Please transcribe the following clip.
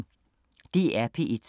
DR P1